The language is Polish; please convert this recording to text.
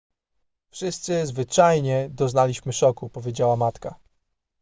wszyscy zwyczajnie doznaliśmy szoku powiedziała matka